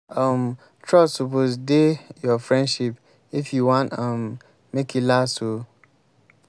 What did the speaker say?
um trust suppose dey your friendship if you wan um make e last oo. um